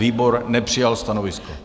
Výbor nepřijal stanovisko.